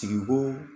Sigo